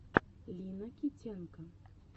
лина китенко